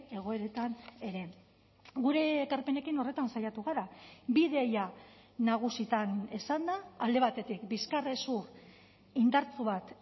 egoeretan ere gure ekarpenekin horretan saiatu gara bi ideia nagusitan esanda alde batetik bizkarrezur indartsu bat